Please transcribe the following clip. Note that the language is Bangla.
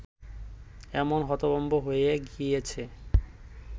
এমন হতভম্ব হয়ে গিয়েছে